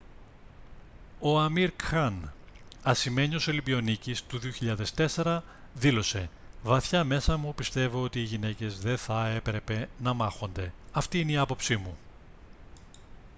ο amir khan ασημένιος ολυμπιονίκης του 2004 δήλωσε «βαθιά μέσα μου πιστεύω ότι οι γυναίκες δεν θα έπρεπε να μάχονται. αυτή είναι η άποψή μου»